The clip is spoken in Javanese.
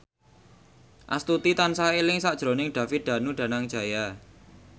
Astuti tansah eling sakjroning David Danu Danangjaya